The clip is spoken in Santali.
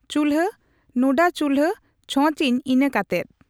ᱪᱩᱞᱦᱟᱹ ᱱᱩᱰᱟᱹᱪᱩᱞᱦᱟᱹ ᱪᱷᱸᱚᱪ ᱤᱱᱟᱹᱠᱟᱛᱮᱫ